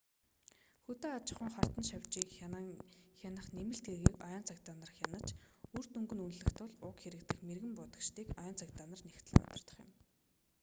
хөдөө аж ахуйн хортон шавьжийг хянах нэмэлт хэргийг ойн цагдаа нар хянаж үр дүнг нь үнэлэх тул уг хэрэг дэх мэргэн буудагчдыг ойн цагдаа нар нягтлан удирдах юм